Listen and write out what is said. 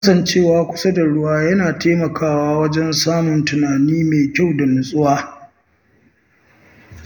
Kasancewa kusa da ruwa yana taimakawa wajen samun tunani mai kyau da nutsuwa.